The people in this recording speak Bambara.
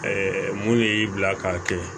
mun de y'i bila k'a kɛ